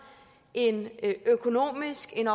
en økonomisk en